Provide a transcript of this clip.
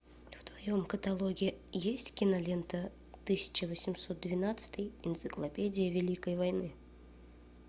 в твоем каталоге есть кинолента тысяча восемьсот двенадцатый энциклопедия великой войны